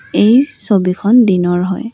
এই ছবিখন দিনৰ হয়।